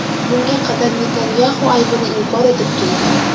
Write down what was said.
Bunga qadar Netanyaxu aybini inkor etib kelgan.